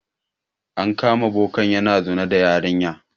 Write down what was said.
An kama bokan yana zina da yarinyar.